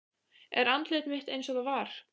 Er andlit mitt einsog það var.